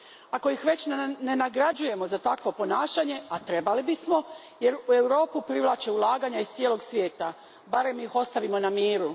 Ako ih već ne nagrađujemo za takvo ponašanje, a trebali bismo, jer u Europu privlače ulaganja iz cijelog svijeta, barem ih ostavimo na miru.